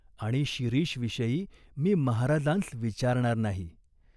आणि शिरीषविषयी मी महाराजांस विचारणार नाही !